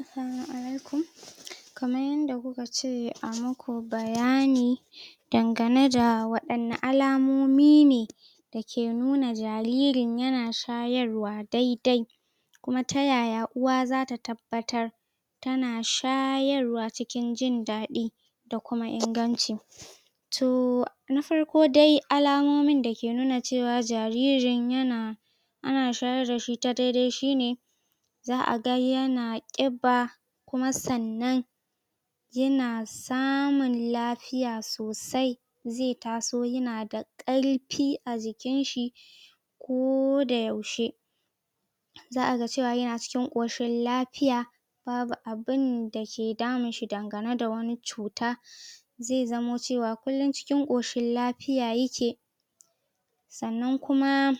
Assalamu Alaikum, kamar yadda ku ka ce a muku bayani, dangane da waɗanne alamomi ne, dake nuna jaririn ya na shayarwa daidai, kuma ta yaya uwa zata tabbatar, tana shayarwa cikin jindaɗi da kuma inganci? Toh, na farko dai alamomin da ke nuna cewa jaririn yana, ana shayar dashi ta daidai shine, za'a ga yana ƙiba kuma sannan, yana samun lafiya sosai, zai taso ya na da ƙarfi a jikinshi, ko da yaushe. Za aga cewa yana cikin ƙoshin lafiya. Babu abunda ke damunshi dangane da wata cuta. Zai zamo cewa kullun cikin ƙoshin lafiya yake. Sannan kuma,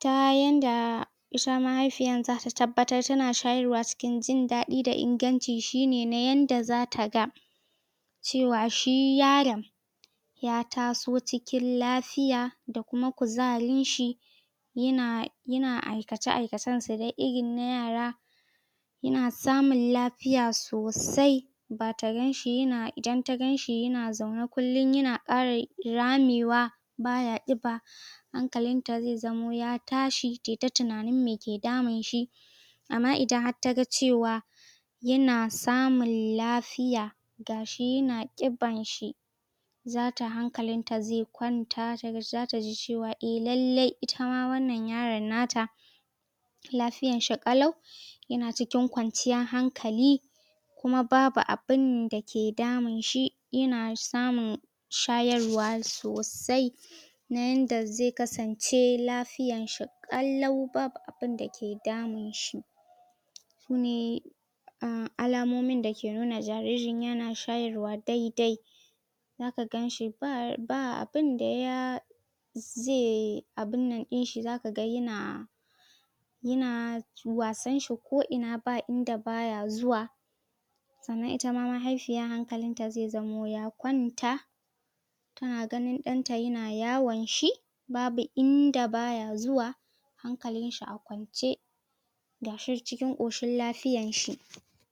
ta yanda, ita mahaifiyar zata tabbatar tana shayarwa cikin jindaɗi da inganci shine na yanda za ta ga, cewa shi yaron ya taso cikin lafiya da kuma kuzarinshi, yana aikace-aikacensa irin na yara. Yana samun lafiya sosai. Ba ta ganshi yana, idan ta ganshi ya zaune kullum yana ƙara ramewa, hankalinta zai zamo ya tashi tai ta tunanin me ke damunshi. Amma idan har taga cewa, yana samun lafiya gashi yana ƙibarshi, zata hankalinta zai kwanta, za taji cewa eh lallai itama wannan yaran nata, lafiyarshi ƙalau, yana cikin kwanciyar hankali, kuma babu abunda ke damunshi yana samun shayarwa sosai. Na yanda zai kasance lafiyar shi ƙalau babu abunda ke damunshi. Sune um alamomin da ke nuna cewa jaririn yana shayarwa dai-dai, za ka ganshi ba abinda ya, ze abunnan ɗinshi za ka ga ya na, yana wasan shi ko ina ba inda baya zuwa. Sannan itama mahaifiyar hankalinta zai zamo ya kwanta. Tani ganin ɗanta yana yawanshi. Babu inda baya zuwa, hankalin shi a kwance, ga shi cikin ƙoshin lafiyan shi.?